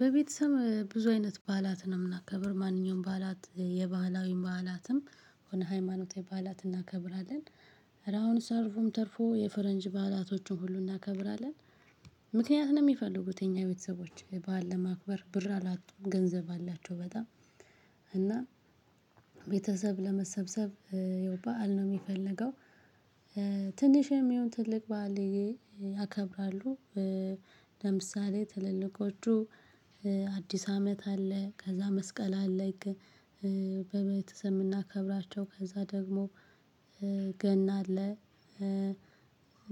በቤተሰብ ብዙ አይነት በዓላትን ነው የምናከብር ማንኛውም በዓላት የባህላዊ በዓላትም የሆነ ሃይማኖታዊ ባዓላት እናከብራለን። ኧረ አሁን ሰርጉም ተርፎ የፈረንጅ ባላቶቹን ሁሉ እናከብራለን። ምክንያት ነው የሚፈልጉት የኛ ቤተሰቦች በዓል ለማክበር ብር አላጡም ገንዘብ አላቸው። በጣም እና ቤተሰብ ለመሰብሰብ የው በዓል ነው የሚፈልገው። ትንሽ የሚሆን ትልቅ ባዓል ያከብራሉ። ለምሳሌ ትልልቆቹ አዲስ አመት አለ ከዛ መስቀል አለ። በቤተሰብ እምናከብራቸው ከዛ ደግሞ ገና አለ።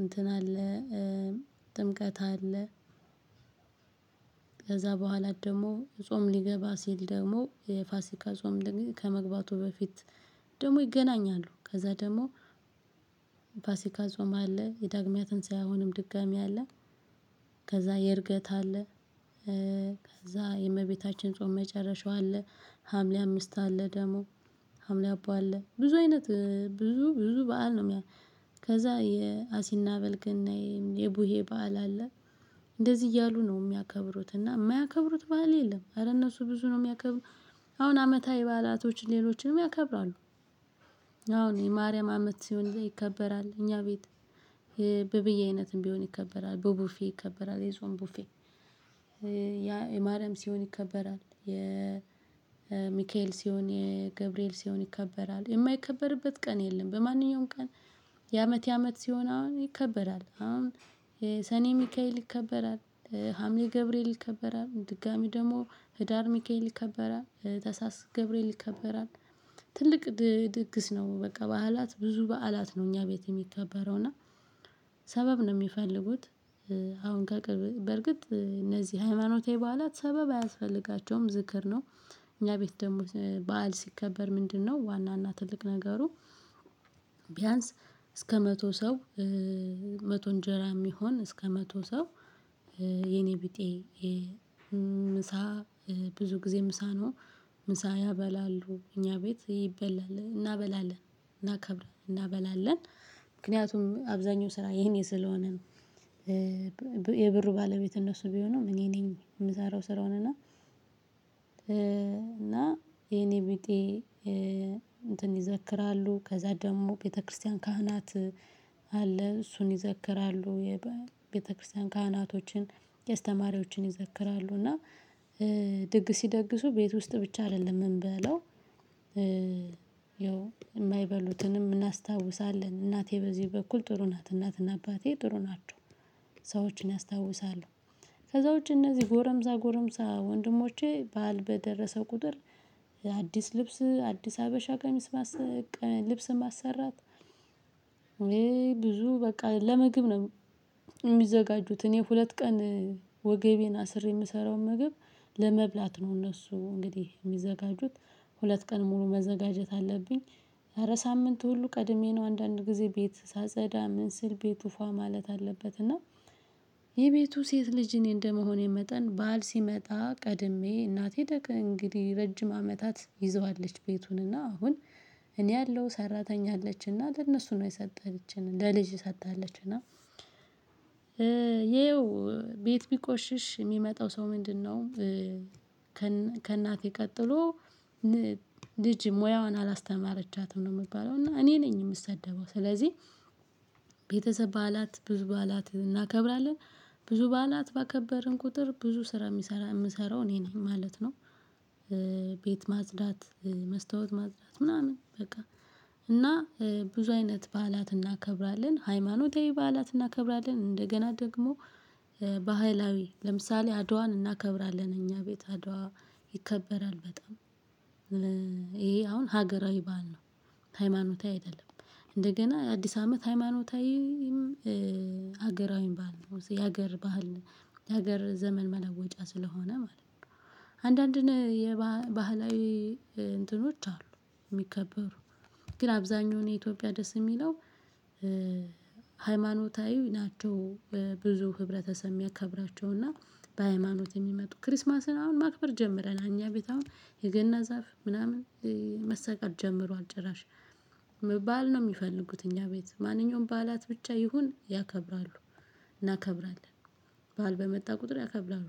እንትን አለ ጥምቀት አለ። ከዛ በኋላ ደግሞ ጾም ሊገባ ሲል ደግሞ የፋሲካ ጾም ከመግባቱ በፊት ደግሞ ይገናኛሉ። ከዛ ደግሞ ፋሲካ ጾማ አለ። የዳግማ ትንሳኤ አሁንም ድጋሜ አለ። ከዛ የእርገት አለ። ከዛ የእመቤታችን ጾም መጨረሻው አለ። ሀምሌ አምስት አለ ደግሞ ሀምሌ አባ አለ ብዙ አይነት ብዙ ብዙ በዓል ነው። ከዛ የአሲና በል ገናዬ የቡሄ በዓል አለ። እንደዚህ እያሉ ነው የሚያከብሩት እና የማያከብሩት በዓል የለም። አረ እነሱ ብዙ ነው የሚያከብሩት አሁን አመታዊ ባአላቶች ሌሎችም ያከብራሉ። አሁን የማርያም አመት ሲሆን ይከበራል እኛ ቤት የበብዬ አይነትም ቢሆን ይከበራል በቡፌ ይከበራል የጾም ቡፌ። የማርያም ሲሆን ይከበራል የ ሚካኤል ሲሆን የገብርኤል ሲሆን ይከበራል የማይከበርበት ቀን የለም። በማንኛውም ቀን የአመት የአመት ሲሆን አሁን ይከበራል አሁን የሰኔ ሚካኤል ይከበራል። ሀምሌ ገብርኤል ይከበራል ድጋሜ ደግሞ ህዳር ሚካኤል ይከበራል ተሀሳስ ገብርኤል ይከበራል። ትልቅ ድግስ ነው በቃ በዓላት ብዙ በዓላት ነው እኛ ቤት የሚከበረው እና ሰበብ ነው የሚፈልጉት። አሁን ከቅርብ በርግጥ እነዚህ ሃይማኖታዊ በዓላት ሰበብ አያስፈልጋቸውም ዝክር ነው። እኛ ቤት ደግሞ በዓል ሲከበር ምንድነው? ዋና እና ትልቅ ነገሩ። ቢያንስ እስከ መቶ ሰው መቶ እንጀራ የሚሆን እስከ መቶ ሰው። የኔ ቢጤ ምሳ ብዙ ጊዜ ምሳ ነው። ምሳ ያበላሉ እኛ ቤት ይበላል እናበላለን እናከብራለን እናበላለን። ምክንያቱም አብዛኛው ስራ የኔ ስለሆነ ነው። የብሩ ባለቤት እነሱ ቢሆንም እኔ ነኝ የምሰራው ስራውን እና። እና የኔ ቢጤ እንትን ይዘክራሉ ከዛ ደግሞ ቤተክርስቲያን ካህናት አለ እሱን ይዘክራሉ የቤተክርስቲያን ካህናቶችን የስተማሪዎችን ይዘክራሉ እና ድግ ሲደግሱ ቤት ውስጥ ብቻ አይደለም የምንበለው። የማይበሉትንም እናስታውሳለን እናቴ በዚህ በኩል ጥሩ ናት እናትና አባቴ ጥሩ ናቸው። ሰዎችን ያስታውሳሉ። ከዛ ውጪ እነዚህ ጎረምሳ ጎረምሳ ወንድሞቼ ባዓል በደረሰ ቁጥር። አዲስ ልብስ አዲስ ሀበሻ ቀሚስ ልብስም ማሰራት። ብዙ በቃ ለምግብ ነው። የሚዘጋጁት እኔ ሁለት ቀን ወገቤን አስሬ የምሰራውን ምግብ ለመብላት ነው። እነሱ እንግዲህ የሚዘጋጁት ሁለት ቀን ሙሉ መዘጋጀት አለብኝ። ኧ ሳምንት ሁሉ ቀድሜ ነው አንዳንድ ጊዜ ቤት ሳጸዳ ምን ስል ቤቱ ፏ ማለት አለበት እና። የቤቱ ሴት ልጅ እኔ እንደመሆኔ መጠን ባዓል ሲመጣ ቀድሜ እናቴ ደክ እንግዲህ ረጅም አመታት ይዘዋለች ቤቱን እና አሁን እኔ አለው ሰራተኛ አለችና ለእነሱ ነው የሰጠችን። ለልጅ ሰታለች እና ይኸው ቤት ቢቆሽሽ የሚመጣው ሰው ምንድነው? ከእናቴ ቀጥሎ ልጅ ሙያዋን አላስተማረቻትም ነው የምባለው እና እኔ ነኝ የምሰደበው ስለዚህ። በዓላት ብዙ በዓላት እናከብራለን። ብዙ በዓላት ባከበርን ቁጥር ብዙ ስራ የሚሰራ የምሰራው እኔ ነኝ ማለት ነው። ቤት ማጽዳት መስታወት ማጽዳት ምናምን በቃ። ብዙ አይነት በዓላት እናከብራለን ሃይማኖታዊ በዓላት እናከብራለን። እንደገና ደግሞ ባህላዊ ለምሳሌ አድዋን እናከብራለን እኛ ቤት አድዋ ይከበራል በጣም። አሁን ሀገራዊ ባል ነው። ሃይማኖታዊ አይደለም። እንደገና አዲስ አመት ሃይማኖታዊም ሀገራዊ ባህል የሀገር ባህል የሀገር ዘመን መለወጫ ስለሆነ ማለት ነው። አንዳንድ የባህላዊ እንትኖች አሉ የሚከበሩ። ግን አብዛኛው የኢትዮጵያ ደስ የሚለው ሃይማኖታዊ ናቸው። ብዙ ህብረተሰብ የሚያከብራቸውና በሃይማኖት የሚመጡ ክርስማስን አሁን ማክበር ጀምረናል እኛ ቤት አሁን የገና ዛፍ ምናምን። መሰቀል ጀምሯል። ጭራሽ በዓል ነው የሚፈልጉት እኛ ቤት ማንኛውም ባዓላት ብቻ ይሁን ያከብራሉ። እናከብራለን ባዓል በመጣ ቁጥር ያከብራሉ።